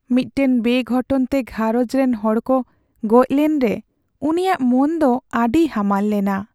ᱢᱤᱫᱴᱟᱝ ᱵᱮᱼᱜᱷᱚᱴᱚᱱ ᱛᱮ ᱜᱷᱟᱨᱚᱸᱡᱽ ᱨᱮᱱ ᱦᱚᱲ ᱠᱚ ᱜᱚᱡ ᱞᱮᱱᱨᱮ ᱩᱱᱤᱭᱟᱜ ᱢᱚᱱ ᱫᱚ ᱟᱹᱰᱤ ᱦᱟᱢᱟᱞ ᱞᱮᱱᱟ ᱾